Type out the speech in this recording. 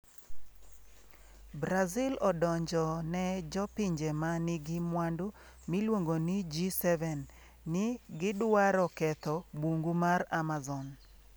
Brazil odonjo ne jopinje ma nigi mwandu miluongo ni G7 ni gidwaro ketho bungu mar Amazon